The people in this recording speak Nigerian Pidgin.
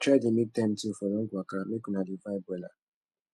try dey mek time too for long waka mek una dey vibe wella